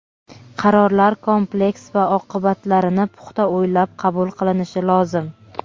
Qarorlar kompleks va oqibatlarini puxta o‘ylab qabul qilinishi lozim.